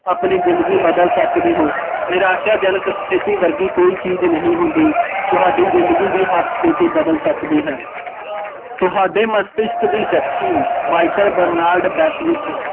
ਆਪਨੀ ਜ਼ਿੰਦਗੀ ਬਦਲ ਸਕਦੇ ਹੋ, ਨਿਰਾਸ਼ਾਜਨਕ ਸਥਿਤੀ ਵਰਗੀ ਕੋਈ ਚੀਜ਼ ਨਹੀਂ ਹੁੰਦੀ, ਤੁਹਾਡੀ ਜ਼ਿੰਦਗੀ ਦੀ ਹਰ ਸਥਿਤੀ ਬਦਲ ਸਕਦੀ ਹੈ, ਤੁਹਾਡੇ ਮਸਕਤਿਕ ਦੀ ਸ਼ਕਤੀ ਮਾਈਕਲ ਬਰਨਲਡ ਬੈਡਵਿੱਤ